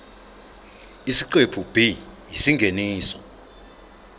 isiqephu b isingeniso